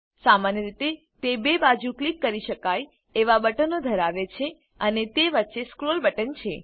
સામાન્ય રીતે તે 2 ક્લિક કરી શકાય એવા બટનો ધરાવે છે અને તે વચ્ચે સ્ક્રોલ બટન છે